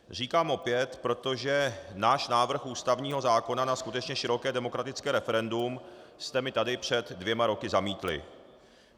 Říkám opět, protože náš návrh ústavního zákona na skutečně široké demokratické referendum jste mi tady před dvěma roky zamítli.